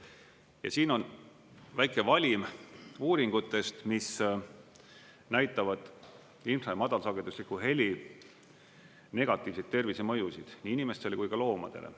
Ja siin on väike valim uuringutest, mis näitavad infra‑ ja madalsagedusliku heli negatiivseid tervisemõjusid nii inimestele kui ka loomadele.